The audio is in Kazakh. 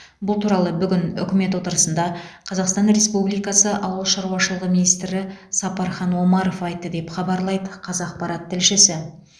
бұл туралы бүгін үкімет отырысында қазақстан республикасы ауыл шаруашылығы министрі сапархан омаров айтты деп хабарлайды қазақпарат тілшісі